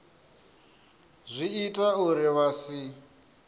zwi ita uri vha si